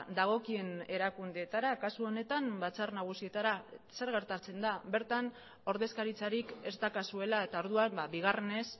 dagokien erakundeetara kasu honetan batzar nagusietara zer gertatzen da bertan ordezkaritzarik ez daukazuela eta orduan bigarrenez